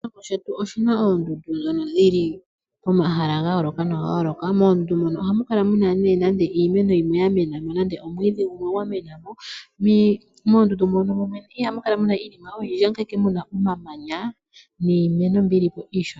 Oshilongo shetu oshina oondundu dhono dhili pomahala ga yooloka noga yooloka moondundu ohamu kala muna nande iimeno yimwe ya mena mo nenge omwiidhi gumwe ga mena mo. Moondundu mono mwene ihamu kala muna iinima oyindji, ohamu kala ile muna omamanya niimeno mbyoka yili mo iishona.